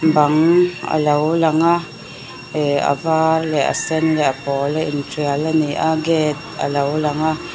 a lo lang a ihh a var leh a sen leh a pawl a intial a ni a gate a lo lang a.